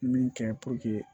Min kɛ